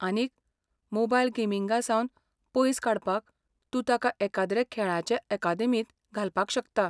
आनीक, मोबायल गेमींगासावन पयस काडपाक, तूं ताका एखाद्रे खेळांचे अकादेमींत घालपाक शकता.